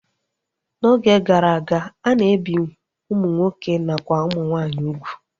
N'oge gara aga, a na-ebi ụmụ nwoke nakwa ụmụ nwaanyị ugwu